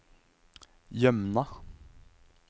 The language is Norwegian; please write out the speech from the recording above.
Jømna